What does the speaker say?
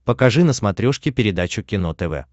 покажи на смотрешке передачу кино тв